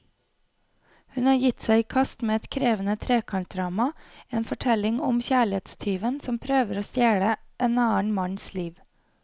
Hun har gitt seg i kast med et krevende trekantdrama, en fortelling om kjærlighetstyven som prøver å stjele en annen manns liv.